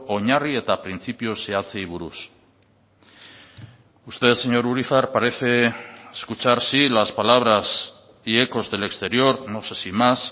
oinarri eta printzipio zehatzei buruz usted señor urizar parece escuchar sí las palabras y ecos del exterior no sé si más